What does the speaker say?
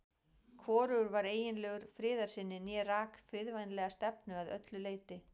Hvorugur var eiginlegur friðarsinni né rak friðvænlega stefnu að öllu leyti.